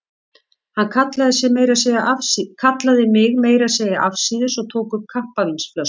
Hann kallaði mig meira að segja afsíðis og tók upp kampavínsflösku.